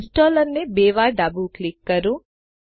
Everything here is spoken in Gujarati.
ઈંસ્ટોલરને બે વાર ડાબું ક્લિક કરો